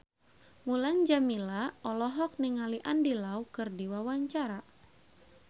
Mulan Jameela olohok ningali Andy Lau keur diwawancara